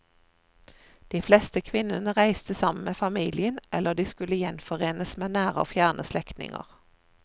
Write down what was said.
De fleste kvinnene reiste sammen med familien eller de skulle gjenforenes med nære og fjerne slektninger.